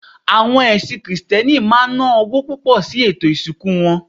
Awo̩n ẹlẹ́sìn krìstẹ́nì maa n na owo pupo̩ si ètò ìsìnkú